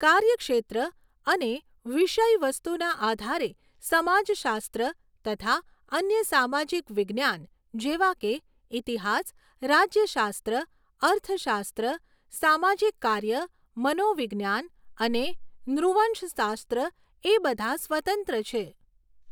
કાર્યક્ષેત્ર અને વિષયવસ્તુના આધારે સમાજશાસ્ત્ર તથા અન્ય સામાજિક વિજ્ઞાન જેવા કે ઈતિહાસ, રાજ્યશાસ્ત્ર, અર્થશાસ્ત્ર, સામાજિક કાર્ય, મનોવિજ્ઞાન અને નૃવંશશાસ્ત્ર એ બધાં સ્વતંત્ર છે.